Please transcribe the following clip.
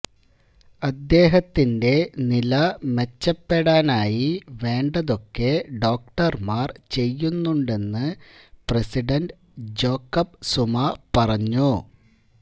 അദ്ദേഹത്തിന്റെ നില മെച്ചപെടാനായി വേണ്ടതൊക്കെ ഡോക്ടര്മാര് ചെയ്യുന്നുണ്ടെന്ന് പ്രസിഡന്റ് ജോക്കബ് സുമാ പറഞ്ഞു